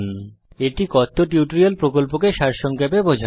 এটি কথ্য টিউটোরিয়াল প্রকল্পকে সারসংক্ষেপে বোঝায়